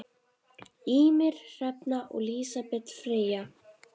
Ýmir, Hrefna og Lísbet Freyja.